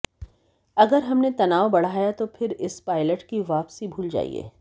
अगर हमने तनाव बढ़ाया तो फिर इस पायलट की वापसी भूल जाइए